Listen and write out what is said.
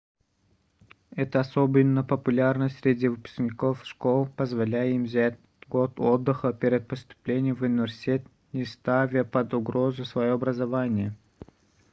это особенно популярно среди выпускников школ позволяя им взять год отдыха перед поступлением в университет не ставя под угрозу своё образование